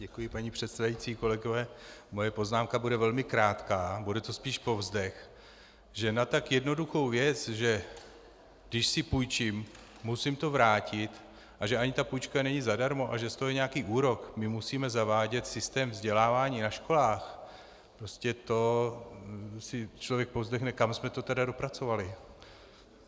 Děkuji, paní předsedající, kolegové, moje poznámka bude velmi krátká, bude to spíš povzdech, že na tak jednoduchou věc, že když si půjčím, musím to vrátit, a že ani ta půjčka není zadarmo a že z toho je nějaký úrok, my musíme zavádět systém vzdělávání na školách, prostě to si člověk povzdechne, kam jsme to tedy dopracovali.